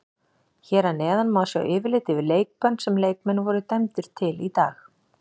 Hér að neðan má sjá yfirlit yfir leikbönn sem leikmenn voru dæmdir til í dag.